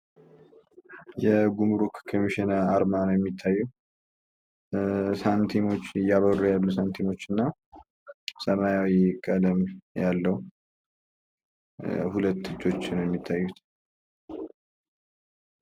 የጉምሩክ ኮሚሽን አርማ ነው። የሚታየው። ሳንቲሞች እያበሩ ያሎ ሳንቲሞች እና ሰማያዊ ቀለም ያለው ሁለት እጆች ናቸው። የሚታዩት።